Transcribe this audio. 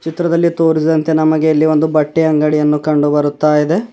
ಚಿತ್ರದಲ್ಲಿ ತೋರಿಸಿದಂತೆ ನಮಗೆ ಇಲ್ಲಿ ಒಂದು ಬಟ್ಟೆ ಅಂಗಡಿಯನ್ನು ಕಂಡು ಬರ್ತಾ ಇದೆ.